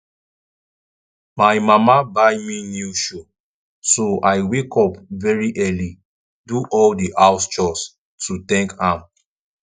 my mama buy me new shoe so i wake up very early do all the house chores to thank am